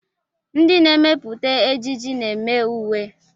Ndị na-emepụta ejiji na-eme uwe.